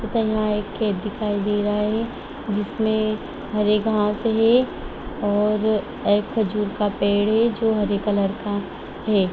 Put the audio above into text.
तथा यहाँ एक खेत दिखाई दे रहा है जिसमें हरे घास हैं और एक खजूर का पेड़ है जो हरे कलर का है।